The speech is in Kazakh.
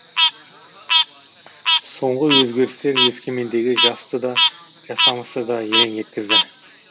соңғы өзгерістер өскемендегі жасты да жасамысты да елең еткізді